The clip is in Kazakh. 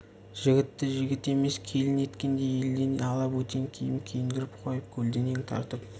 жігітті жігіт емес келін еткендей елден ала бөтен киім киіндіріп қойып көлденең тартып